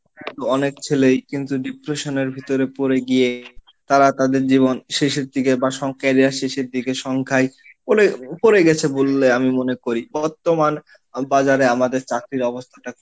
অনেক ছেলেই কিন্তু Depression এর ভিতরে পড়ে গিয়ে তারা তাদের জীবন শেষের দিকে বা career এর শেষের দিকে সংখ্যায় পড়ে গেছে বলে আমি মনে করি, বর্তমান বাজারে আমাদের চাকরির অবস্থাটা,